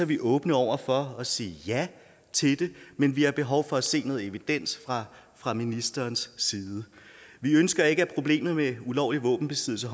vi åbne over for at sige ja til det men vi har behov for at se noget evidens fra fra ministerens side vi ønsker at problemerne med ulovlig våbenbesiddelse